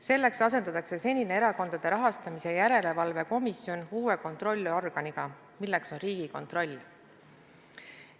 Selleks asendatakse senine Erakondade Rahastamise Järelevalve Komisjon uue kontrollorganiga, milleks on Riigikontroll.